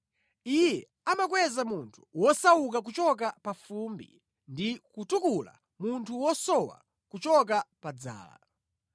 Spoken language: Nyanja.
Iye amakweza munthu wosauka kuchoka pa fumbi ndi kutukula munthu wosowa kuchoka pa dzala;